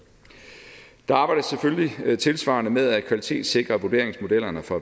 der arbejdes selvfølgelig tilsvarende med at kvalitetssikre vurderingsmodellerne for